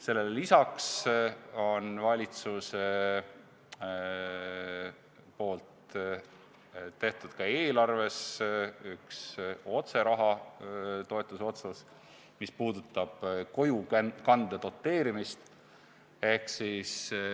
Sellele lisaks on valitsusel tehtud eelarves üks otsetoetuse otsus, mis puudutab kojukande doteerimist.